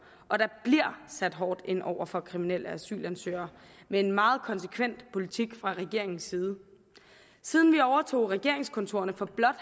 og der bliver sat hårdt ind over for kriminelle asylansøgere med en meget konsekvent politik fra regeringens side siden vi overtog regeringskontorerne for blot